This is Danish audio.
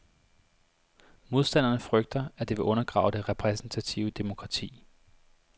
Modstanderne frygter, at det vil undergrave det repræsentative demokrati.